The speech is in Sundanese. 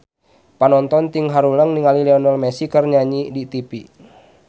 Panonton ting haruleng ningali Lionel Messi keur nyanyi di tipi